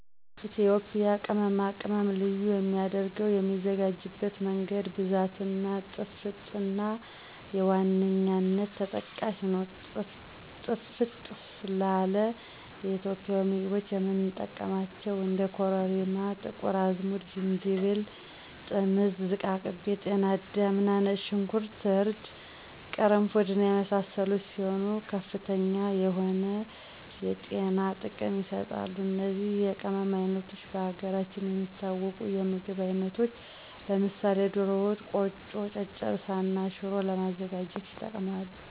ኢትዮጵያ ቅመማ ቅመም ልዩ የሚያደረገው የሚዘጋጅበት መንገድ፣ ብዛት እና ጥፍጥና በዋነኛነት ተጠቃሽ ናቸው። ጥፍጥ ላለ ኢትዮጵያዊ ምግቦች የምንጠቀማቸው እንደ ኮረሪማ፣ ጥቁር አዝሙድ፣ ዝንጅብል፣ ጥምዝ፣ ዝቃቅቤ፣ ጤናዳም፣ ነጭ ሾንኩርት፣ እርድ፣ ቅርንፉድ እና የመሳሰሉት ሲሆኑ ከፍተኛ የሆነ የጤና ጥቅም ይሰጣሉ። እነዚህ የቅመም አይነቶች በሀገራችን የሚታወቁ የምግብ አይነቶች ለምሳሌ ደሮ ወጥ፣ ቆጮ፣ ጨጨብሳ እና ሽሮ ለማዘጋጀት ይጠቅማሉ።